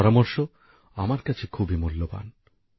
এই পরামর্শ আমার কাছে খুবই মূল্যবান